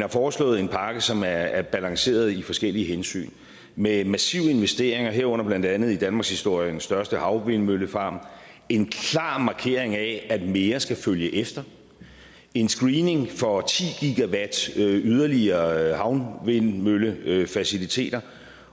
har foreslået en pakke som er er balanceret af forskellige hensyn med massive investeringer herunder blandt andet i danmarkshistoriens største havvindmøllepark en klar markering af at mere skal følge efter en screening for ti gw yderligere havvindmøllefaciliteter